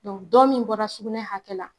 dɔ min bɔra sugunɛ hakɛ la